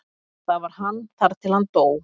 Þar var hann þar til hann dó.